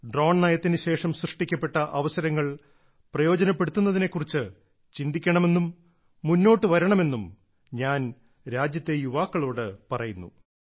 drone നയത്തിന് ശേഷം സൃഷ്ടിക്കപ്പെട്ട അവസരങ്ങൾ പ്രയോജനപ്പെടുത്തുന്നതിനെക്കുറിച്ച് ചിന്തിക്കണമെന്നും മുന്നോട്ടു വരണമെന്നും ഞാൻ രാജ്യത്തെ യുവാക്കളോട് പറയുന്നു